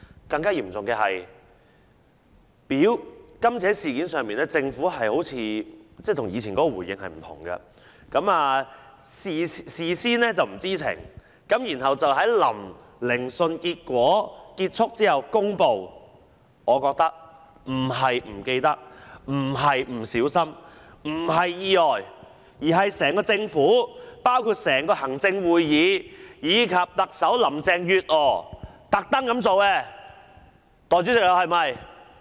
更嚴重的是，在今次事件上，政府的回應好像與以往不同，政府事先不知情，但卻在聆訊結束後公布，我覺得不是忘記了、不是不小心、不是意外，而是整個政府包括行政會議及特首林鄭月娥故意這樣做。